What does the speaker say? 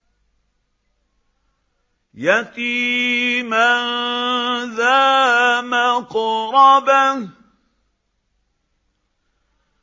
يَتِيمًا ذَا مَقْرَبَةٍ